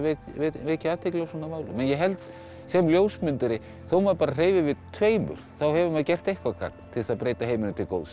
vekja athygli á svona málum ég held sem ljósmyndari þó maður bara hreyfi við tveimur þá hefur maður gert eitthvert gagn til þess að breyta heiminum til góðs